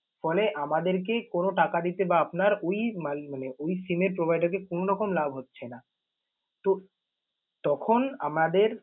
ফলে আমাদেরকে কোন টাকা দিতে বা আপনার ওই মানে ওই SIM এর provider কে কোনরকম লাভ হচ্ছে না। তো তখন আমাদের